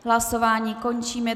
Hlasování končím.